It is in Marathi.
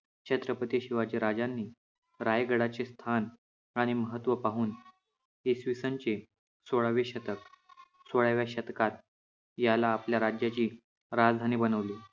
छत्रपती शिवाजी राजांनी रायगडाचे स्थान आणि महत्त्व पाहून इसवीसन चे सोळावे शतक, सोळाव्या शतकात याला आपल्या राज्याची राजधानी बनवले.